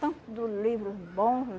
Tanto livro bom